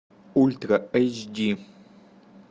ультра эйч ди